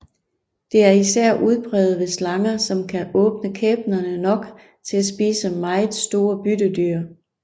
Det er især udpræget ved slanger som kan åbne kæberne nok til at spise meget store byttedyr